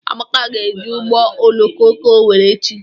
Amaka ga-eji ụgbọ oloko ga Owerri echi.